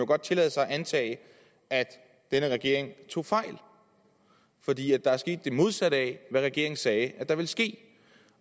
godt tillade sig at antage at denne regering tog fejl fordi der er sket det modsatte af hvad regeringen sagde ville ske